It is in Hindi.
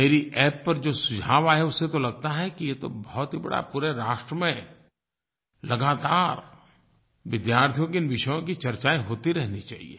मेरी App पर जो सुझाव आये उससे तो लगता है कि ये तो बहुत ही बड़ा पूरे राष्ट्र में लगातार विद्यार्थियों के इन विषयों की चर्चायें होती रहनी चाहिए